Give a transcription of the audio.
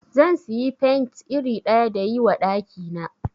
Zan siyi paint iri ɗaya dayi wa ɗaki na